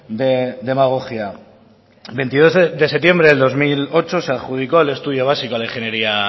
de demagogia veintidos de septiembre del dos mil ocho se adjudicó el estudio básico a la ingeniería